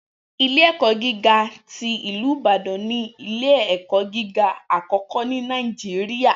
Ilẹ̀-ẹ̀kọ̀ gígá tí Ilú Ìbàdàn ni ilẹ̀-ẹ̀kọ̀ gígá akọ́kọ́ ni Naijiria.